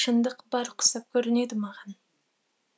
шындық бар құсап көрінеді маған